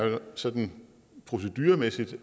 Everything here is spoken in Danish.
sådan proceduremæssigt